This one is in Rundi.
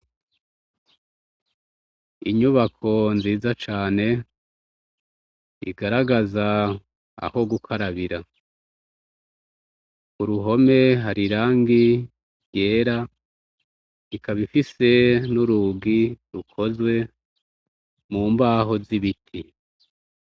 Inyubako nziza cane igaragaza aho gukarabira ukuruhome hari irangi ryera ikaba ifise nurugi rukozwe mubaho zibiti